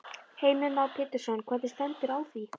Heimir Már Pétursson: Hvernig stendur á því?